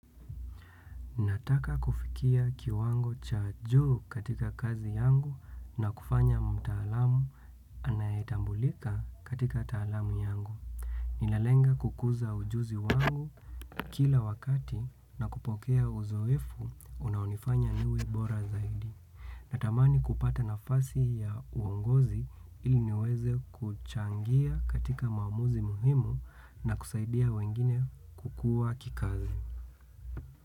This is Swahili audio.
Nataka kufikia kiwango cha juu katika kazi yangu na kufanya mtaalamu anayetambulika katika taalamu yangu. Ninalenga kukuza ujuzi wangu kila wakati na kupokea uzoefu unaonifanya niwe bora zaidi. Natamani kupata nafasi ya uongozi ili niweze kuchangia katika maamuzi muhimu na kusaidia wengine kukua kikazi.